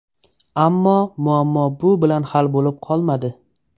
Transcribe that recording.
Ammo muammo bu bilan hal bo‘lib qolmadi.